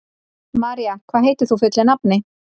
María, hvað heitir þú fullu nafni?